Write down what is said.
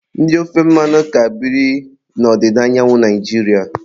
Ndị ofe mmanụ ka birikwa n'odịda anyanwu Naijiria